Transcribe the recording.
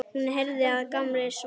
Hún heyrði að Gamli svaf.